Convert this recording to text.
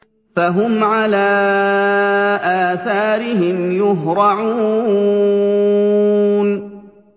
فَهُمْ عَلَىٰ آثَارِهِمْ يُهْرَعُونَ